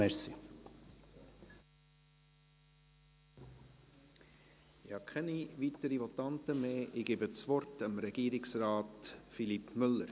Ich habe keine weiteren Votanten mehr und gebe das Wort Regierungsrat Philippe Müller.